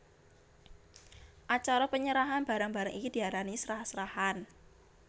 Acara penyerahan barang barang iki diarani srah srahan